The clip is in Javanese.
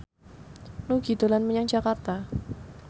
Nugie dolan menyang Jakarta